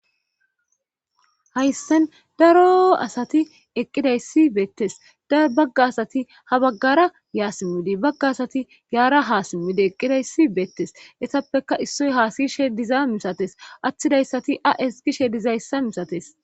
hayssen daro asati eqqidayssi beettes daro bagga asati ha baggara yaa simmidi bagga asati yaara haa simmidi eqqidayssi beettes esappeka issoy haasishe diza misates atthidayssati a7es gishe dizayssa misates